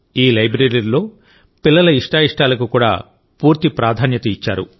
ఈ లైబ్రరీలోపిల్లల ఇష్టాయిష్టాలకు కూడా పూర్తి ప్రాధాన్యత ఇచ్చారు